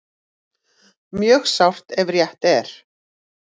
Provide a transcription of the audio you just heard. Mjög sárt ef rétt er